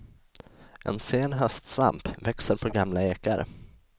En sen höstsvamp, växer på gamla ekar.